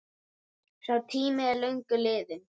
Sá tími er löngu liðinn.